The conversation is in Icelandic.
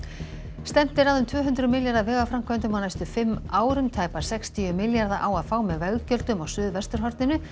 stefnt er að um tvö hundruð milljarða vegaframkvæmdum á næstu fimm árum tæpa sextíu milljarða á að fá með veggjöldum á Suðvesturhorninu